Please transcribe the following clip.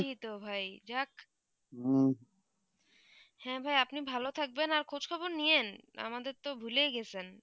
হ্যাঁ ভাই আপনি ভালো থাকবেন আর খোঁজখবর নিয়েন আমাদের তো ভুলেই গেছেন